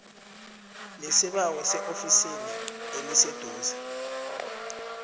lesibawo eofisini eliseduze